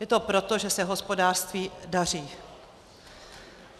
Je to proto, že se hospodářství daří.